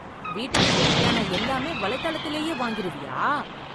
வீட்டுக்குத் தேவையான எல்லாமே வலைத்தளத்திலேயே வாங்கிருவியா?